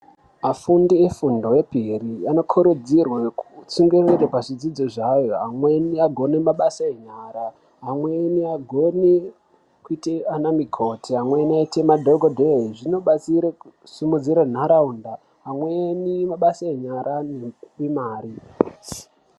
Afundi efundo yepiri anokurudzirwa kutsungirire pazvidzidzvo zvavo, vamweni vagone mabasa enyara, vamweni vagone kuita anamukoti, amweni aite madhogodheya, zvinobatsira kusimudzira ntaraunda, amweni mabasa enyara ane mari.